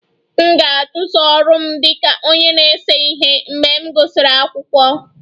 M ga-achụso ọrụ m dị ka onye na-ese ihe mgbe m gụsịrị akwụkwọ